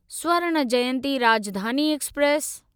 Swarna Jayanti Rajdhani express